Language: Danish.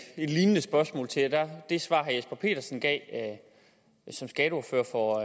lignende spørgsmål til herre det svar herre jesper petersen gav som skatteordfører for